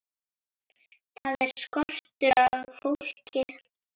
Þar er skortur á fólki.